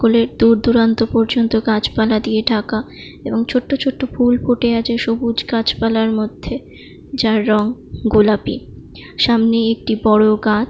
School -এর দূর দূরান্ত পর্যন্ত গাছপালা দিয়ে ঢাকা এবং ছোট্ট ছোট্ট ফুল ফুটে আছে সবুজ গাছপালার মধ্যে যার রং গোলাপি সামনে একটি বড়ো গাছ ।